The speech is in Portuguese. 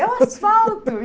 É o asfalto!